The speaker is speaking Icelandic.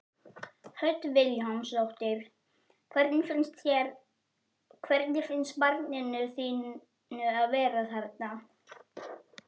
Hödd Vilhjálmsdóttir: Hvernig finnst barninu þínu að vera þarna?